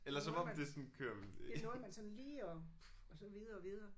Det nåede man det nåede man sådan lige og og så videre videre